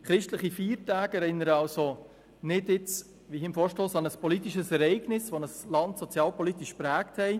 Christliche Feiertage erinnern also nicht wie im Vorstoss an ein politisches Ereignis, das ein Land sozialpolitisch geprägt hat.